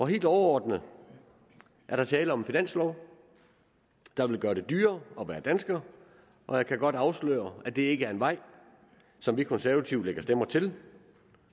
helt overordnet er der tale om en finanslov der vil gøre det dyrere at være dansker og jeg kan godt afsløre at det ikke er en vej som vi konservative lægger stemmer til